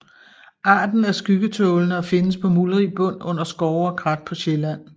Arten er skyggetålende og findes på muldrig bund under skove og krat på Sjælland